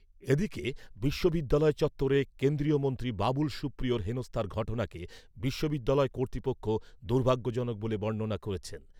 এদিকে, বিশ্ববিদ্যালয় চত্বরে কেন্দ্রীয় মন্ত্রী বাবুল সুপ্রিয়র হেনস্থার ঘটনাকে বিশ্ববিদ্যালয় কর্তৃপক্ষ দুর্ভাগ্যজনক বলে বর্ণনা করেছে।